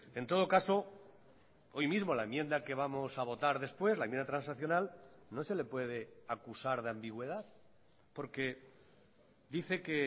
en todo caso hoy mismo la enmienda que vamos a votar después la enmienda transaccional no se le puede acusar de ambigüedad porque dice que